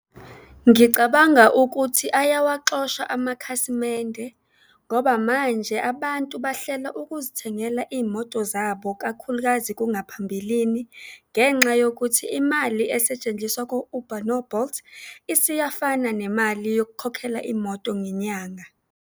Ngicabanga ukuthi ayawaxosha amakhasimende ngoba manje abantu bahlela ukuzithengela iy'moto zabo, kakhulukazi kungaphambilini, ngenxa yokuthi imali esetshenziswa ku-Uber no-Bolt, isiyafana nemali yokukhokhela imoto ngenyanga.